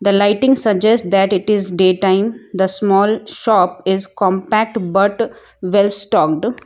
The lighting suggest that it is day time the small shop is compacted but we'll stocked.